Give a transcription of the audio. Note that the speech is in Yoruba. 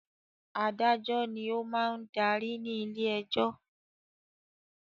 Adájọ́ ni ó máa ń darí ní ilé-ẹjọ́.